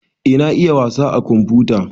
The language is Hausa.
Eh na iya wasa a komfuta